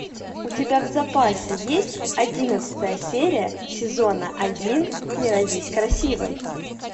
у тебя в запасе есть одиннадцатая серия сезона один не родись красивой